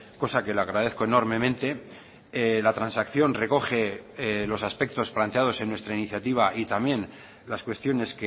cosa que le agradezco enormemente la transacción recoge los aspectos planteados en nuestra iniciativa y también las cuestiones